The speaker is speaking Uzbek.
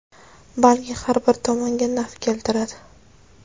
balki har ikki tomonga naf keltiradi.